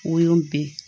O y'o bɛɛ